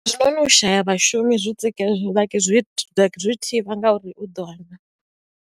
Zwone u shaya ha vhashumi zwi tsiki, like zwi like zwi thivha nga uri u ḓo wana.